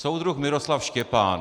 Soudruh Miroslav Štěpán.